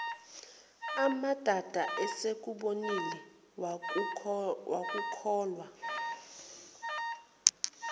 amadada esekubonile wakukholwa